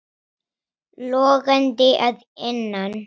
Logandi að innan.